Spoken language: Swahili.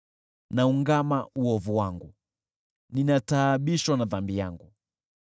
Naungama uovu wangu, ninataabishwa na dhambi yangu.